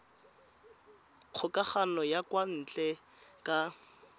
kgokagano ya kwa ntle ka